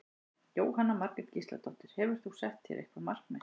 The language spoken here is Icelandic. Jóhanna Margrét Gísladóttir: Hefur þú sett þér eitthvað markmið?